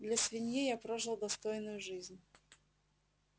для свиньи я прожил достойную жизнь